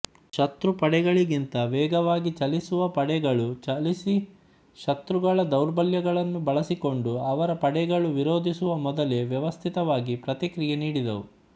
ಶತ್ರುಪಡೆಗಳಿಗಿಂತ ವೇಗವಾಗಿ ಚಲಿಸುವ ಪಡೆಗಳು ಚಲಿಸಿಶತ್ರುಗಳ ದೌರ್ಬಲ್ಯಗಳನ್ನು ಬಳಸಕೊಂಡು ಅವರ ಪಡೆಗಳು ವಿರೋಧಿಸುವ ಮೊದಲೇ ವ್ಯವಸ್ಥಿತವಾಗಿ ಪ್ರತಿಕ್ರಿಯೆ ನೀಡಿದವು